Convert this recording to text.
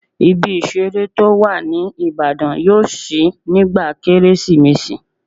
Ibi ìseré tó wà ní Ìbàdàn yóò ṣí nígbà kérésìmesì